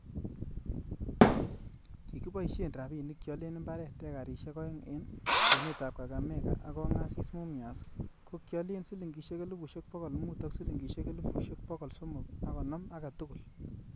Kikiboishen rabinik kialen imbaret ekarisiek oeng en kwenetab Kakamega ak Kongasis Mumias, ko kiolen silingisiek elfusiek bogol mut ak siligisiek elfusiek bogol somok an konoom agetugul.